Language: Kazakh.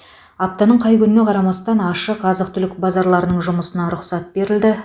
аптаның қай күніне қарамастан ашық азық түлік базарларының жұмысына рұқсат берілді